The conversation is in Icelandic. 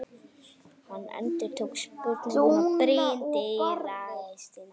Hann endurtók spurninguna, brýndi raustina.